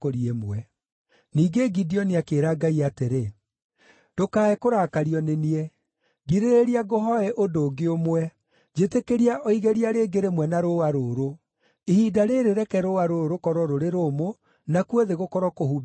Ningĩ Gideoni akĩĩra Ngai atĩrĩ, “Ndũkae kũrakario nĩ niĩ. Ngirĩrĩria ngũhooe ũndũ ũngĩ ũmwe. Njĩtĩkĩria o igeria rĩngĩ rĩmwe na rũũa rũrũ. Ihinda rĩrĩ reke rũũa rũrũ rũkorwo rũrĩ rũmũ, nakuo thĩ gũkorwo kũhumbĩirwo nĩ ime.”